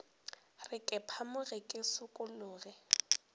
re ke phamoge ke šikologe